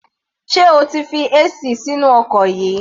Sé o ti fi AC sínú ọkọ̀ yìí?